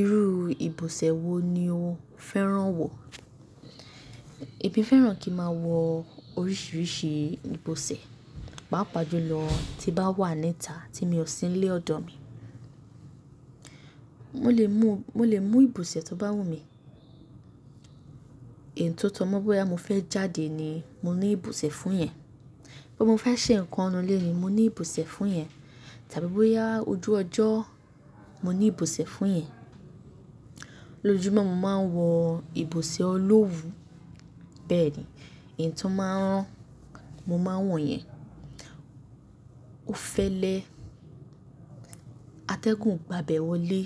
Irú ìbòsẹ̀ wo ni o fẹ́ràn wọ̀? Èmi fẹ́ràn kí n máa wọ oríṣiríṣi ìbòsẹ̀, pàápàá jùlọ tí bá wà níta tí mo sì ń lé ọ̀dọ̀ mi. Mo lè mú, mo lè mú ìbòsẹ̀ tó bá wù mí. Ẹ̀yìn tó tọ́ mo, bóyá mo fẹ́ jáde ni mo ní ìbòsẹ̀ fún yẹn, bóyá mo fẹ́ ṣe nǹkan nínú ilé ni mo ní ìbòsẹ̀ fún yẹn, tàbí bóyá ojú ọjọ́ mo ní ìbòsẹ̀ fún yẹn. Lójojúmọ́ mo máa ń wọ ìbòsẹ̀ olówu, bẹ́ẹ̀ ni. Ẹ̀yì n tó máa ń rán, mo máa ń wọ̀ yẹn. Ó fẹ́lẹ́, atẹ́gùn gba bẹ̀ wọlé.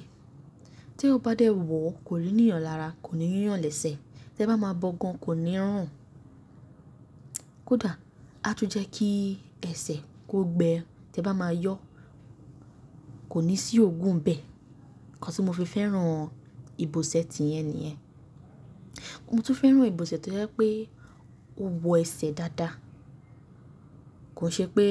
Tí eyan bá dé wọ kò ní níyàn lára, kò ní yúyàn lẹ́sẹ̀, tí ẹ bá máa bọ gan kò ní run un. Kódà á tún jẹ́ kí ẹsẹ̀ kó gbẹ́ tí ẹ bá máa yọ, kò ní sí oògùn bẹ́ẹ̀. Ǹkan tí mo fi fẹ́ràn ìbòsẹ̀ tiyẹn nìyẹn. Moo tun fẹ́ràn ìbòsẹ̀ tọ́ jẹ́ pé ó wọ ẹsẹ̀ dáadáa. Kò ṣe pé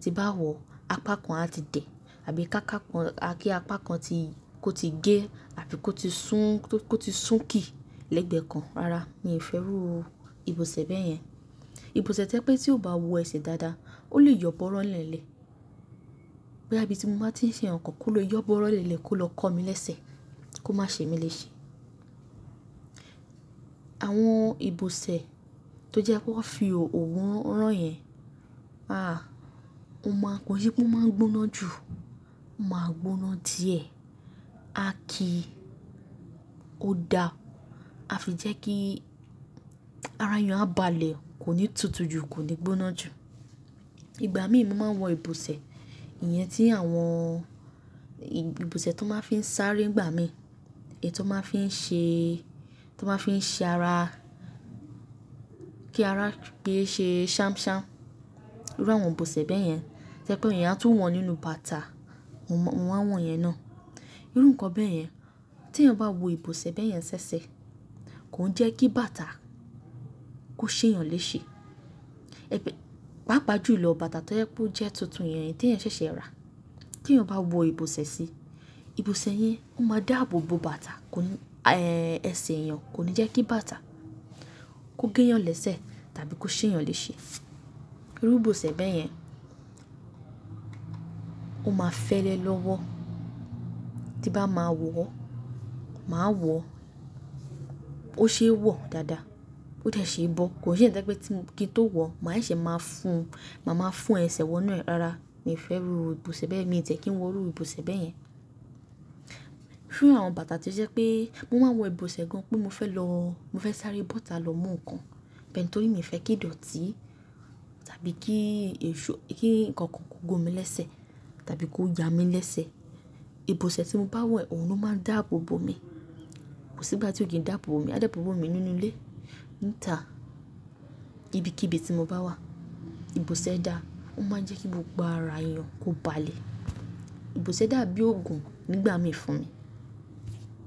tí n bá wọ̀ apá kan á ti dẹ̀ àbí ká kápá kan kí apá kan tí kó ti gé àbí kó ti sún, kó ti sún kì lẹ́gbẹ́ kan. Rárá, mi ò fẹ́ iru ìbòsẹ̀ bẹ́yẹn. Ìbòsẹ̀ to jẹ pé tí ó bá wọ ẹsẹ̀ dáadáa, ó lè yọbọ̀ọ́rọ́ n lélẹ̀. Boya ibi ti mo bá ti ń ṣe nǹkan kó lè yọbọ̀ọ́rọ́ n lélẹ̀ kó lọ kọ́ mi lẹ́sẹ̀ kó má ṣe mí léṣe. Àwọn ìbòsẹ̀ tó jẹ́ pé wọ́n fi òwú rán yẹn, àá, ó máa ń-- kọ́n se pe ó máa ń gbóná jù, ó máa gbóná díẹ̀. A kì í, ó da, a fi jẹ́ kí ara èèyàn á balẹ̀, kò ní tutù jù, kò ní gbóná jù. Igbà mí ì mo máa ń wọ ìbòsẹ̀, ìyẹn tí àwọn-- ìbòsẹ̀ tón máa ń fi ń sáré nìgbà mí, èyí tón máa ń fi ń ṣe, tó máa ń fi ṣe ara kí ara pé ṣe ṣamṣam. Irú àwọn ìbòsẹ̀ bẹ́yẹn. To je pé èèyàn á tún wọ̀ nínú bàtà, mo maa n wọ̀ iyẹn naá. Irú nǹkan bẹ́yẹn. Tí èèyàn bá wọ ìbòsẹ̀ bẹ́yẹn ṣẹ́ṣẹ, kò ń jẹ́ kí bàtà kó ṣe èèyàn léṣe. Pàápàá jùlọ bàtà tó jẹ́ pé ó jẹ́ tuntun yẹn tí ẹ̀eyàn ṣẹ̀ṣẹ̀ rà. Tí èèyàn bá wọ ìbòsẹ̀ sí i, ìbòsẹ̀ yẹn ó máa dáàbò bo bàtà kò ní, eh, ẹsẹ̀ èèyàn kò ní jẹ́ kí bàtà kó gé èèyàn lẹ́sẹ̀ tàbí kó ṣe èèyàn léṣe. Irú ìbòsẹ̀ bẹ́yẹn ó máa fẹ́lẹ́ lọ́wọ́. Tí n bá máa wọ̀, máa wọ̀ ó ṣe é wọ̀ dáadáa, ó de see bọ́. Kò n ṣe eyi to je pé kí n tó wọ̀ mà á seṣẹ̀ máa fún, màá máa fún ẹsẹ̀ wọn inu e. Rárá, mi ò fẹ́ iru ìbòsẹ̀ bẹ́ẹ̀, mi ò tiẹ́ kí n iru ìbòsẹ̀ bẹ́yẹn. Fun àwọn bàtà tó jẹ́ pé mo máa n wọ ìbòsẹ̀ gan pé mo fẹ́ lọ, mo fẹ́ sáré bọ́otà lọ mú nǹkan, bu tóri ìmi fẹ́ kí í dọ̀tí tàbí kí èṣó, kí nǹkan kan kó gun mi lẹ́sẹ̀ tàbí kó ya mi lẹ́sẹ̀. Ìbòsẹ̀ tí mo bá wọ̀ yi, òun ló máa ń dáàbò bo mi. Kò sí ìgbà tí ó kì í dàbò bo mi. A dàbò bo mi nínú ilé, níta, ibikíbi tí mo bá wà. Ìbòsẹ̀ dá, ó máa ń jẹ́ kí gbogbo ara èèyàn kó balẹ̀. Ìbòsẹ̀ dà bí ògùn nígbà mí fún mi.